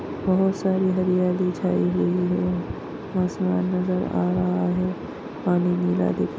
बहुत सारी हरियाली छाई हुई है आसमान नजर आ रहा है। पानी नीला दिख--